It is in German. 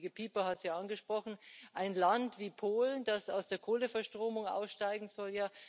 Der Kollege Pieper hat es angesprochen ein Land wie Polen, das aus der Kohleverstromung aussteigen soll.